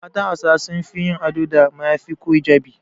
Matan Hausawa sun fi yin ado da mayafi ko hijabi.